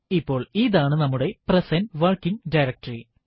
ഇപ്പോൾ ഇതാണ് നമ്മുടെ പ്രസന്റ് വർക്കിങ് ഡയറക്ടറി